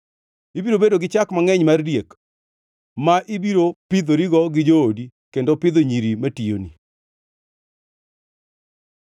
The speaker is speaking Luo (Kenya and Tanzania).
Ibiro bedo gi chak mangʼeny mar diek ma ibiro pidhorigo gi joodi kendo pidho nyiri matiyoni.